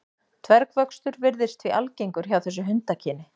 Dvergvöxtur virðist því algengur hjá þessu hundakyni.